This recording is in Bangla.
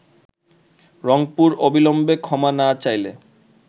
রংপুর অবিলম্বে ক্ষমা না চাইলে